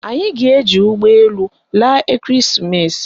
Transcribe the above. Anyị ga-eji ụgbọelu laa ekereesimesi